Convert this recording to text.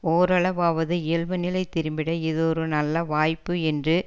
ஓரளவாவது இயல்பு நிலை திரும்பிட இது ஒரு நல்ல வாய்ப்பு என்று